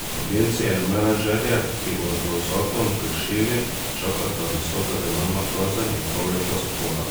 Agencije in menedžerje, ki bodo zakon kršili, čakata visoka denarna kazen in pol leta zapora.